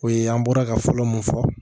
O ye an bɔra ka fɔlɔ mun fɔ